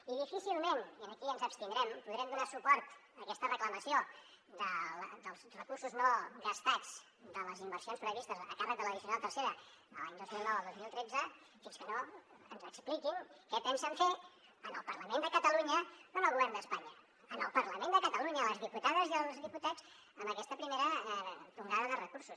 i difícilment i aquí ens abstindrem podrem donar suport a aquesta reclamació dels recursos no gastats de les inversions previstes a càrrec de l’addicional tercera de l’any dos mil nou al dos mil tretze fins que no ens expliquin què pensen fer en el parlament de catalunya no en el govern d’espanya en el parlament de catalunya a les diputades i els diputats amb aquesta primera tongada de recursos